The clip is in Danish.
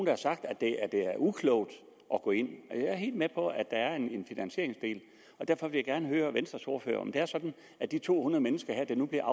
har sagt at det er uklogt at gå ind jeg er helt med på at der er en finansieringsdel og derfor vil jeg gerne høre venstres ordfører om det er sådan at de to hundrede mennesker her der nu bliver